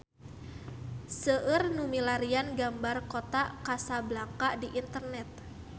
Seueur nu milarian gambar Kota Kasablanka di internet